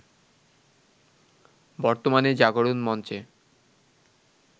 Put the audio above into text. বর্তমানে জাগরণ মঞ্চে